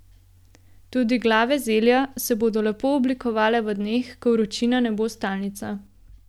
Tudi glave zelja se bodo lepo oblikovale v dneh, ko vročina ne bo stalnica.